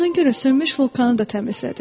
Buna görə sönmüş vulkanı da təmizlədi.